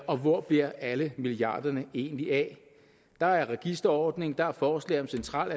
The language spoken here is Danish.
og hvor bliver alle milliarderne egentlig af der er registerordning der er forslag om central